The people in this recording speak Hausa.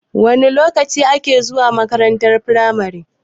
Wana lokaci ake zuwa makarantar firamare?